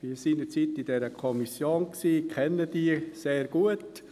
Ich gehörte seinerzeit dieser Kommission an und kenne diese sehr gut.